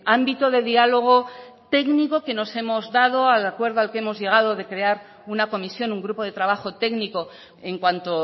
ámbito de diálogo técnico que nos hemos dado al acuerdo al que hemos llegado de crear una comisión un grupo de trabajo técnico en cuanto